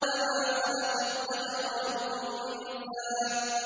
وَمَا خَلَقَ الذَّكَرَ وَالْأُنثَىٰ